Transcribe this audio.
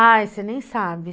Ai, você nem sabe.